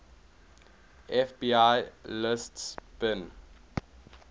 fbi lists bin